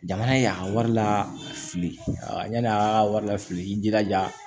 Jamana y'a wari lafili a yani a ka wari la fili i jilaja